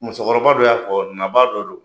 Musokɔrɔba don y'a fɔ nabaa dɔ don